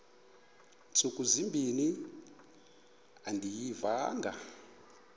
ntsuku zimbin andiyivanga